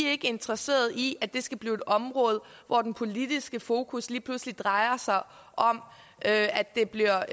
er ikke interesserede i at det skal blive et område hvor den politiske fokus lige pludselige drejer sig om at det bliver